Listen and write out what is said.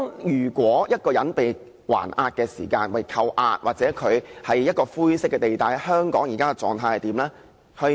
如果一個人被扣押，又或他處於灰色地帶，香港現時的做法是怎樣呢？